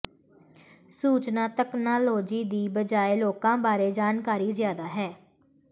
ਸੂਚਨਾ ਤਕਨਾਲੋਜੀ ਦੀ ਬਜਾਏ ਲੋਕਾਂ ਬਾਰੇ ਜਾਣਕਾਰੀ ਜ਼ਿਆਦਾ ਹੈ